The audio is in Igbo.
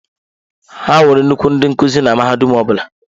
Ha nwere nnukwu ndị nkuzi na mahadum ọ bụla.